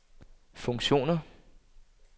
funktioner